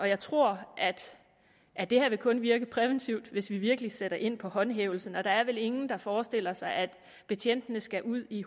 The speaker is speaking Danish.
jeg tror at det her kun vil virke præventivt hvis vi virkelig sætter ind med håndhævelsen og der er vel ingen der forestiller sig at betjentene skal ud i